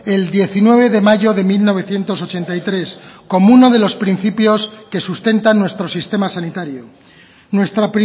el diecinueve de mayo de mil novecientos ochenta y tres como uno de los principios que sustentan nuestro sistema sanitario nuestra